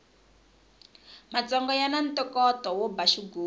matsonga yani ntokoto wo ba xigubu